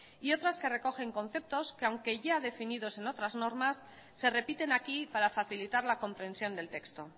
y otras que recogen conceptos que aunque ya definidos en otras normas se repiten aquí para facilitar la comprensión del texto